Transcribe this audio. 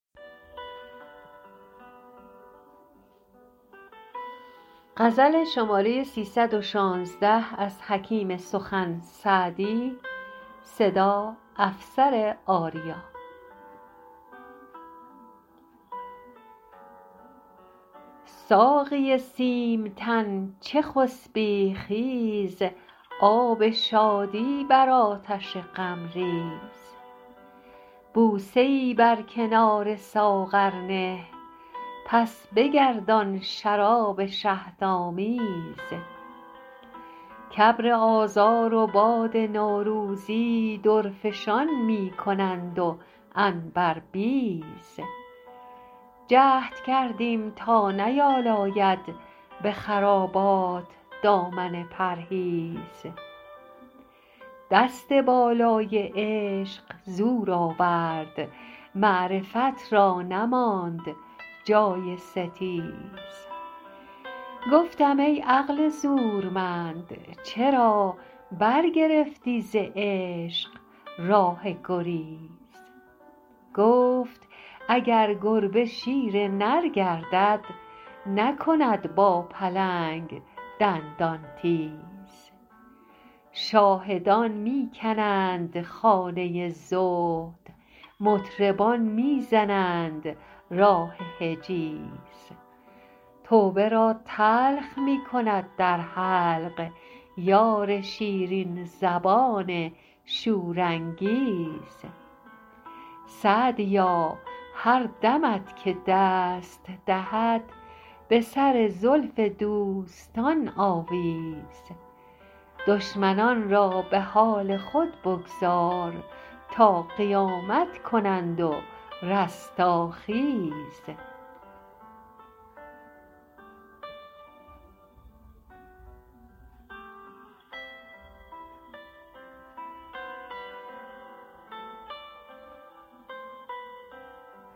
ساقی سیم تن چه خسبی خیز آب شادی بر آتش غم ریز بوسه ای بر کنار ساغر نه پس بگردان شراب شهدآمیز کابر آذار و باد نوروزی درفشان می کنند و عنبربیز جهد کردیم تا نیالاید به خرابات دامن پرهیز دست بالای عشق زور آورد معرفت را نماند جای ستیز گفتم ای عقل زورمند چرا برگرفتی ز عشق راه گریز گفت اگر گربه شیر نر گردد نکند با پلنگ دندان تیز شاهدان می کنند خانه زهد مطربان می زنند راه حجیز توبه را تلخ می کند در حلق یار شیرین زبان شورانگیز سعدیا هر دمت که دست دهد به سر زلف دوستان آویز دشمنان را به حال خود بگذار تا قیامت کنند و رستاخیز